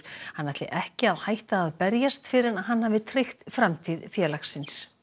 hann ætli ekki að hætta að berjast fyrr en hann hafi tryggt framtíð félagsins